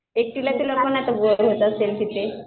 एकटीला तिला पण बोर होत असेल तिथे.